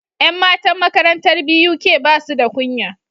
Yan matan makarantar BUK basuda kunya